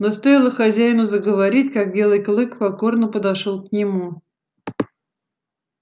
но стоило хозяину заговорить как белый клык покорно подошёл к нему